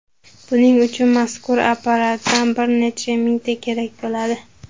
Buning uchun mazkur apparatdan bir necha mingta kerak bo‘ladi.